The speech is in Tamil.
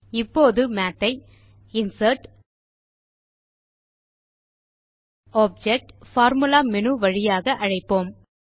இப்போது மாத் ஐ இன்சர்ட்க்டோப்ஜெக்ட்பார்பார்முலா மேனு வழியாக அழைப்போம்